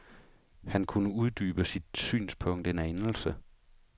Han kunne uddybe sit synspunkt en anelse.